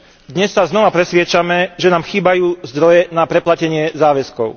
Dnes sa znova presviedčame, že nám chýbajú zdroje na preplatenie záväzkov.